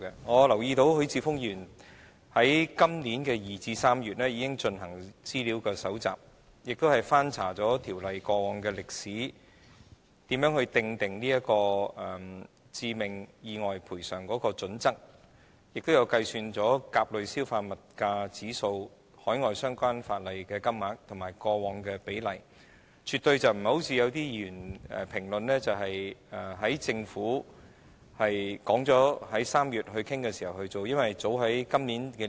我留意到，許智峯議員在今年2月至3月期間已搜集資料，翻查《條例》過往的歷史，以了解訂定致命意外賠償金額的準則，亦按甲類消費物價指數計算了海外相關法例的金額及以往的比例，而絕非某些議員的評論般，是在政府表明會於3月討論後才進行的。